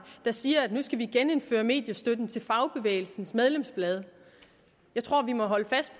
siger at vi skal genindføre mediestøtten til fagbevægelsens medlemsblade jeg tror at vi må holde fast